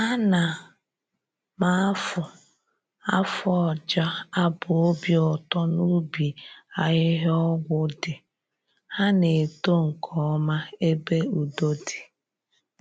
Ana m afụ afụ ọja abụ obi ụtọ n'ubi ahịhịa ọgwụ dị, ha na-eto nkeọma ebe udo di.